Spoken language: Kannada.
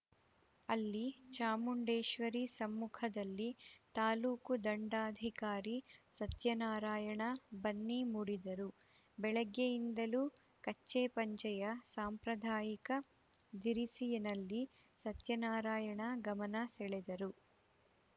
ಅಲ್ಲಿ ಚಾಮುಂಡೇಶ್ವರಿ ಸಮ್ಮುಖದಲ್ಲಿ ತಾಲೂಕು ದಂಡಾಧಿಕಾರಿ ಸತ್ಯನಾರಾಯಣ ಬನ್ನಿ ಮುಡಿದರು ಬೆಳಗ್ಗೆಯಿಂದಲೂ ಕಚ್ಚೆಪಂಚೆಯ ಸಾಂಪ್ರದಾಯಿಕ ಧಿರಿಸಿನಲ್ಲಿ ಸತ್ಯನಾರಾಯಣ ಗಮನ ಸೆಳೆದರು